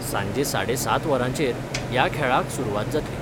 सांजे साडे सात वरांचेर या खेळाक सुरूवात जातली.